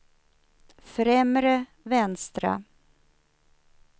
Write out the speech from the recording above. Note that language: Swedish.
främre vänstra